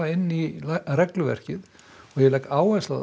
inn í regluverkið ég legg áhersluna